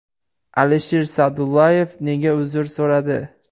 Alisher Sa’dullayev nega uzr so‘radi?